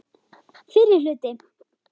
FYRRI HLUTI